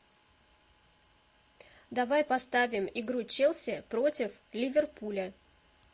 давай поставим игру челси против ливерпуля